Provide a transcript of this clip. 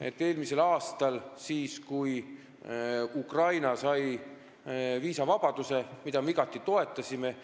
Eelmisel aastal, kui Ukraina sai viisavabaduse, mida me igati toetasime,